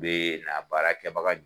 Bɛ na baara kɛbaga